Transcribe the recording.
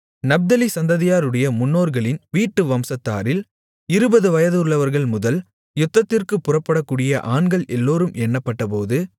நப்தலி சந்ததியாருடைய முன்னோர்களின் வீட்டு வம்சத்தாரில் இருபது வயதுள்ளவர்கள்முதல் யுத்தத்திற்குப் புறப்படக்கூடிய ஆண்கள் எல்லோரும் எண்ணப்பட்டபோது